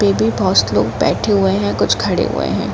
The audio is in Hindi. बहोत से लोग बैठे हुए है कुछ खडे हुए है।